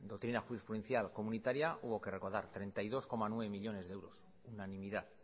doctrina jurisprudencial comunitaria hubo que recortar treinta y dos coma nueve millónes de euros unanimidad